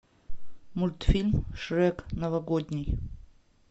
мультфильм шрек новогодний